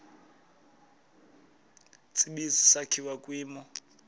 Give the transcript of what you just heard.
tsibizi sakhiwa kwimo